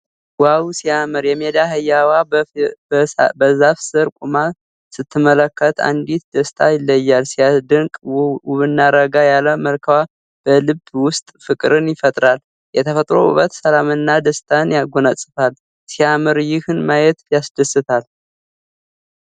ዋው ሲያምር! የሜዳ አህያዋ በዛፍ ሥር ቆማ ስትመለከት እንዴት ደስ ይላል። ሲያስደንቅ! ውብና ረጋ ያለ መልክዋ በልብ ውስጥ ፍቅርን ይፈጥራል። የተፈጥሮ ውበት ሰላምንና ደስታን ያጎናጽፋል። ሲያምር! ይህን ማየት ያስደስታል።